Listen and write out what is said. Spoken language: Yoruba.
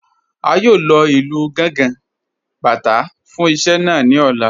A yóò lọ ilú Gàngà, Bátà fún iṣẹ̀ naa ní ọ̀lá.